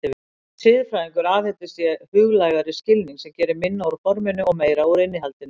Sem siðfræðingur aðhyllist ég huglægari skilning sem gerir minna úr forminu og meira úr innihaldinu.